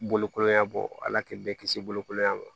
Bolokoya bɔ ala k'i bɛɛ kisi bolokoɲuman ma